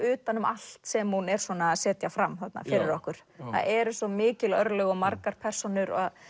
utan um allt sem hún er að setja fram þarna fyrir okkur það eru svo mikil örlög og margar persónur að